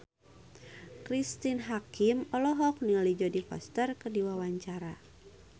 Cristine Hakim olohok ningali Jodie Foster keur diwawancara